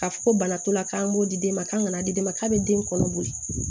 K'a fɔ ko bana t'o la k'an b'o di den ma k'a bɛ den kɔnɔ boli